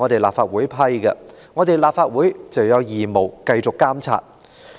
立法會既然批出撥款，便有義務繼續監察。